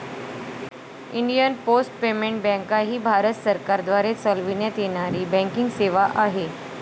Indian post payment बँकाही भारत सरकारद्वारे चालविण्यात येणारी बँकिंग सेवा आहे.